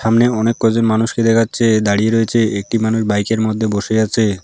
সামনে অনেক কজন মানুষকে দেখা যাচ্ছে দাঁড়িয়ে রয়েছে একটি মানুষ বাইকের মধ্যে বসে আছে।